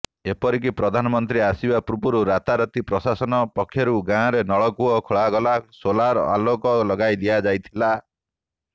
ଏପରିକି ପ୍ରଧାନମନ୍ତ୍ରୀ ଆସିବା ପୂର୍ବରୁ ରାତାରାତି ପ୍ରଶାସନ ପକ୍ଷରୁ ଗାଁରେ ନଳକୂଅ ଖୋଳାଗଲା ସୋଲାର ଆଲୋକ ଲଗାଇଦିଆଯାଇଥିଲା